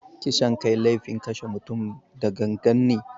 Kisan kai laifin kashe mutum da gangan ne.